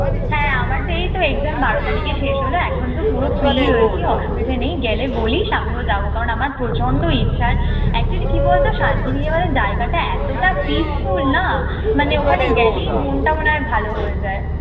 হ্যাঁ, আমারতো এইতো exam বারো তারিখে শেষ হলো। এখনতো পুরো free রয়েছি। অসুবিধা নেই, গেলে বলিস আমিও যাব। কারণ আমার প্রচন্ড ইচ্ছা। actually কি বলতো শান্তিনিকেতনের জায়গাটা এতোটা peaceful না মানে ওখানে গেলেই মনটা মনে হয়ে ভালো হয়ে যায়।